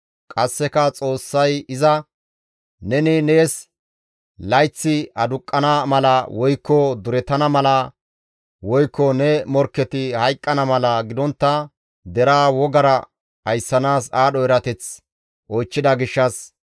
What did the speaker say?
Qasseka Xoossay iza, «Neni nees layththi aduqqana mala woykko durettana mala, woykko ne morkketi hayqqana mala gidontta deraa wogara ayssanaas aadho erateth oychchida gishshas,